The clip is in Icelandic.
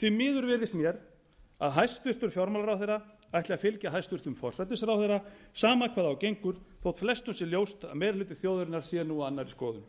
því miður virðist mér að hæstvirtur fjármálaráðherra ætli að fylgja hæstvirtur forsætisráðherra sama hvað á gengur þótt flestum sé ljóst að meiri hluti þjóðarinnar sé nú á annarri skoðun